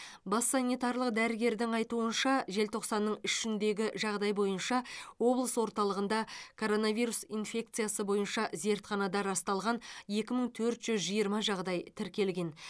бас санитарлық дәрігердің айтуынша желтоқсанның үшіндегі жағдай бойынша облыс орталығында коронавирус инфекциясы бойынша зертханада расталған екі мың төрт жүз жиырма жағдай тіркелген